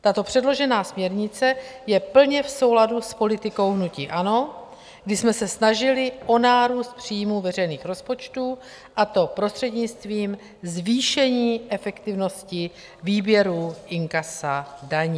Tato předložená směrnice je plně v souladu s politikou hnutí ANO, kdy jsme se snažili o nárůst příjmů veřejných rozpočtů, a to prostřednictvím zvýšení efektivnosti výběru inkasa daní.